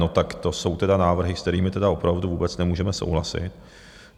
- No tak to jsou tedy návrhy, s kterými tedy opravdu vůbec nemůžeme souhlasit.